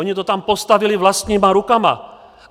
Oni to tam postavili vlastníma rukama.